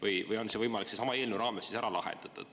Või on see kõik võimalik sellesama eelnõu raames ära lahendada?